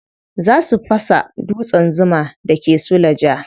Za su fasa dutsen zuma da ke suleja.